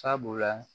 Sabula